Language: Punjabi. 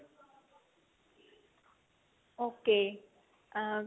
okay ਅਮ